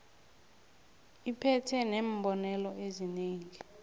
iphethe neembonelo ezinengi